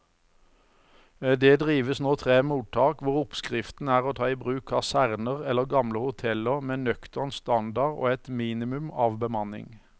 Det driver nå tre mottak hvor oppskriften er å ta i bruk kaserner eller gamle hoteller med nøktern standard og et minimum av bemanning.